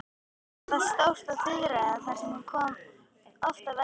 Gerði þá stórt á firðinum sem þar kann oft verða.